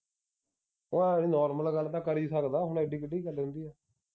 ਉਹ ਨੌਰਮਲ ਗੱਲ ਤਾਂ ਕਰ ਈ ਸਕਦਾ ਹੁਣ ਇੱਡੀ ਕਿੱਡੀ ਗੱਲ ਹੁੰਦੀ ਐ। ਤਾਂ ਕਰੂੰਗਾ ਕਰਦੇ ਨੀ ਪਸੰਦ ਨੀ ਉਹਨੂੰ ਮੈਂ ਕੀ ਦੱਸ ਕਰਾ। ਜੇ ਤੈਨੂੰ ਮਜਾਕ ਤੈਨੂੰ